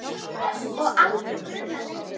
Og aldrei grunaði Leif neitt.